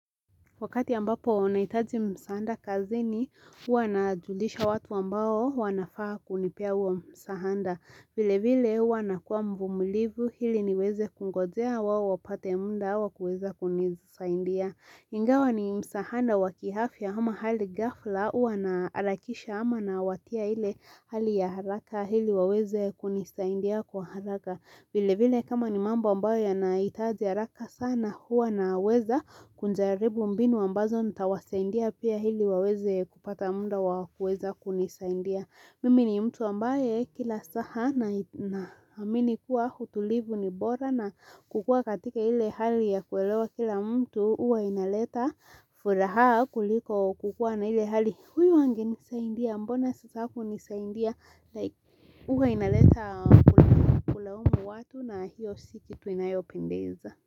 Wakati ambapo nahitaji msaanda kazini huwa najulisha watu ambao wanafaa kunipea wa msahanda. Vile vile hua nakuwa mvumlivu hili niweze kungojea wao wapate muda wa kuweza kunisaindia Ingawa ni msahanda wakihafia hama hali ghafla hua naalakisha hama nawatia ile hali ya haraka hili waweze kunisaindia kwa haraka vile vile kama ni mambo ambayo yanahitaji haraka sana huwa naweza kunjaribu mbinu ambazo nitawasaindia pia hili waweze kupata munda wa kuweza kunisaindia. Mimi ni mtu ambaye kila saha na naamini kuwa hutulivu ni bora na kukua katika hile hali ya kuelewa kila mtu uwa inaleta furaha kuliko kukua na ile hali. Huyo angenisaindia mbona sasa hakunisaindia. Huwa inaleta kulaumu watu na hiyo si kitu inayopendeza.